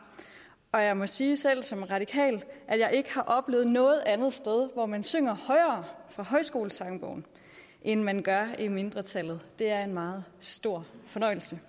og jeg må sige selv som radikal at jeg ikke har oplevet noget andet sted hvor man synger højere fra højskolesangbogen end man gør i mindretallet det er en meget stor fornøjelse